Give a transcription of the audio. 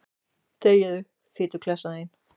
Þegiðu, fituklessan þín.